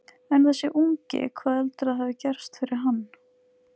En þessi ungi, hvað heldurðu að hafi gerst fyrir hann?